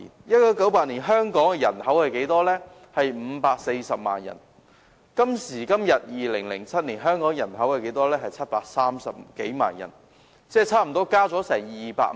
1988年，香港人口是540萬人，今時今日香港人口已增至730多萬人，增加差不多200萬人。